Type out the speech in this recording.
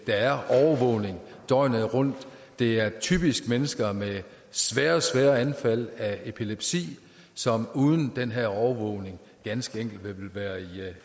er overvågning døgnet rundt det er typisk mennesker med svære svære anfald af epilepsi som uden den her overvågning ganske enkelt ville være i